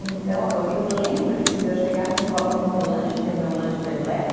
Então, eu lembro disso de eu chegar na escola com o meu lanche, que é o meu lanche predileto.